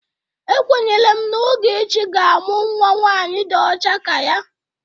Ekwenyere m na Ogechi ga-amụ nwa nwaanyị dị ọcha ka ya.